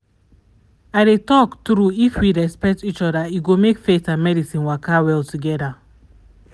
i dey talk true if we respect each other e go make faith and medicine waka well together.